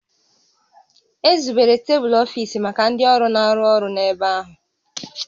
Ezubere tebulu ọfiisi maka ndị ọrụ na-arụ ọrụ n'ebe ahụ